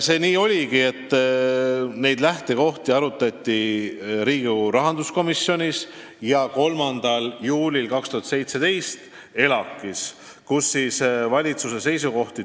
Nii oligi, et neid lähtekohti arutati Riigikogu rahanduskomisjonis ja 3. juulil 2017 ka ELAK toetas valitsuse seisukohti.